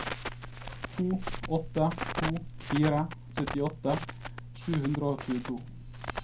to åtte to fire syttiåtte sju hundre og tjueto